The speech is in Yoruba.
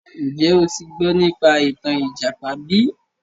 Njẹ́ o ti gbọ́ nípa ìtàn ìjàpá bí?